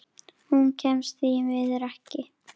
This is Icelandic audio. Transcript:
Hún kemst því miður ekki.